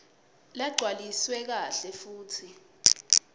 lagcwaliswe kahle futsi